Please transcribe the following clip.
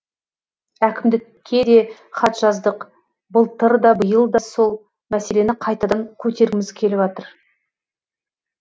әкімдікке де хат жаздық былтыр да биыл да сол мәселені қайтадан көтергіміз келіп жатыр